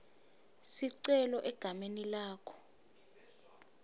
sicelo egameni lakho